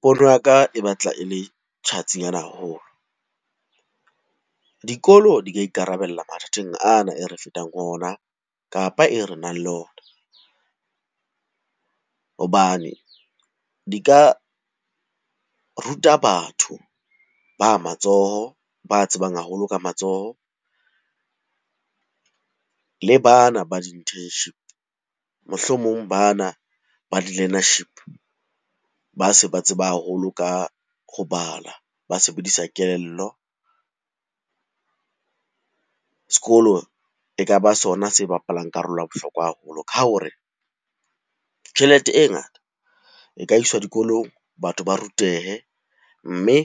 Pono ya ka e batla e le tjhatsi ana haholo. Dikolo di ka ikarabella mathateng ana e re fetang ho ona, kapa e re nang le ona. Hobane di ka ruta batho ba matsoho ba tsebang haholo ka matsoho, le bana ba di-internship. Mohlomong bana ba di-learnership ba se ba tseba haholo ka ho bala, ba sebedisa kelello. Sekolo e ka ba sona se bapalang karolo ya bohlokwa haholo ka hore tjhelete e ngata e ka iswa dikolong batho ba rutehe, mme